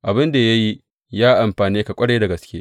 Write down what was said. Abin da ya yi ya amfane ka ƙwarai da gaske.